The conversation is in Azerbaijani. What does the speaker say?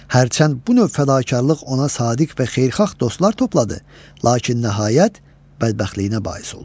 Hərçənd bu növ fədakarlıq ona sadiq və xeyirxah dostlar topladı, lakin nəhayət bədbəxtliyinə bais oldu.